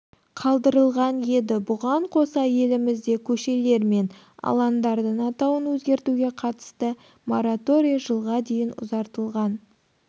қадырылған еді бұған қоса елімізде көшелер мен алаңдардың атауын өзгертуге қатысты мораторий жылға дейін ұзартылған